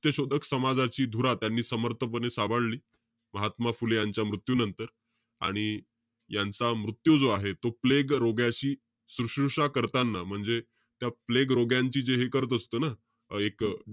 सत्यशोधक समाजाची धुरा त्यांनी समर्थपणे सांभाळली. महात्मा फुले यांच्या मृत्यू नंतर. आणि यांचा मृत्यू जो आहे तो प्लेग रोग्याची सुश्रुषा करताना, म्हणजे त्या प्लेग रोग्यांची जे हे करत असतो ना, अं एक,